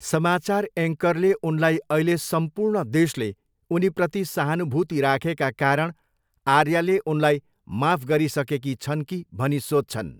समाचार एङ्करले उनलाई अहिले सम्पूर्ण देशले उनीप्रति सहानुभूति राखेका कारण आर्याले उनलाई माफ गरिसकेकी छन् कि भनी सोध्छन्।